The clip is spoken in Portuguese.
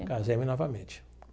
Casei-me novamente.